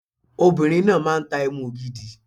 Obìnrin náà máa tá Ẹmu ògidì.